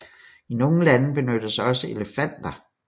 I nogle lande benyttes også elefanter